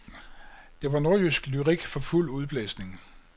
Det var nordjysk lyrik for fuld udblæsning.